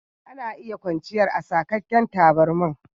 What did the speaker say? Ana iya kwanchiyar a saƙaken taburma.